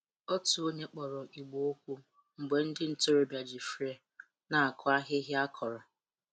Otu onye kpọrọ igbè okwu mgbe ndị ntorobịa ji flail na-akụ ahịhịa akọrọ.